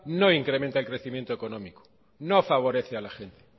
no incrementa el crecimiento económico no favorece a la gente